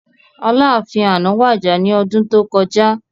Aláàfin àná wàjà ní ọdún tó kọjá